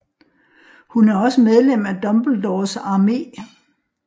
Hun er også medlem af Dumbledores Armé